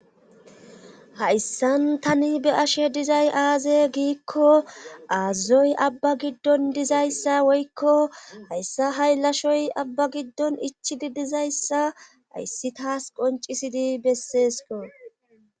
Hayssan tani be ashe dizay aaze giikko aazazoy abba giddon dizayssa woykko hayssa hay lashoy abba giddon ichidi dizayssa ayssi taas qoncisidi besseesko.